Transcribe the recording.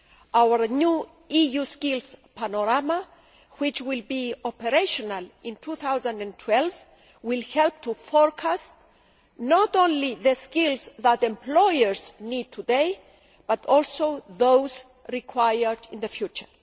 Our new EU Skills Panorama, which will be operational in 2012, will help to forecast not only the skills that employers need today, but also those required in the future.